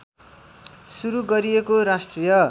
सुरु गरिएको राष्ट्रिय